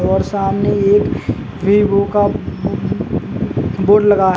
और सामने एक वीवो का बोर्ड लगा